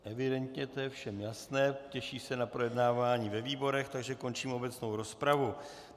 Evidentně je to všem jasné, těší se na projednávání ve výborech, takže končím obecnou rozpravu.